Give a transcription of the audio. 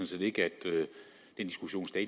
set ikke den diskussion